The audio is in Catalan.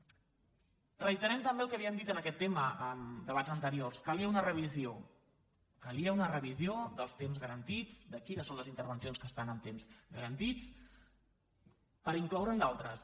reiterant també el que havíem dit en aquest tema en debats anteriors calia una revisió calia una revisió dels temps garantits de quines són les intervencions que estan en temps garantits per incloure’n d’altres